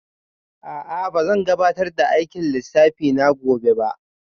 A'a ba zan gabatar da aikin lissafi na gobe ba